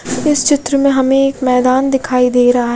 इस चित्र में हमे एक मैदान दिखाई दे रहा --